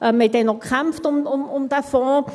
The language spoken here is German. Wir haben damals um diesen Fonds gekämpft.